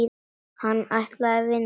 Hann ætlaði að vinna.